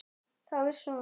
Þá vissi hún að